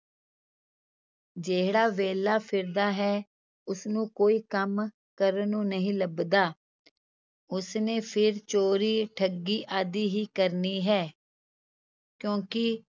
ਜਿਹੜਾ ਵਿਹਲਾ ਫਿਰਦਾ ਹੈ ਉਸਨੂੰ ਕੋਈ ਕੰਮ ਕਰਨ ਨੂੰ ਨਹੀਂ ਲੱਭਦਾ ਉਸਨੇ ਫਿਰ ਚੋਰੀ, ਠੱਗੀ ਆਦਿ ਹੀ ਕਰਨੀ ਹੈ ਕਿਉਂਕਿ